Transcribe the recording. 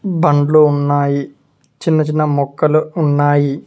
బండ్లో ఉన్నాయి చిన్న చిన్న మొక్కలు ఉన్నాయి.